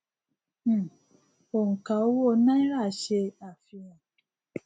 um oǹkà owó náírà ṣe àfihàn